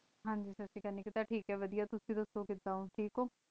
ਹਨ ਜੀ ਸਾਸਰੀ ਕਾਲ ਵਾਦੇਯਾ ਤੁਸੀਂ ਦਾਸੁ ਥੇਕ ਹੋ